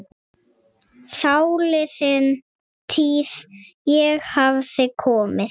Þáliðin tíð- ég hafði komið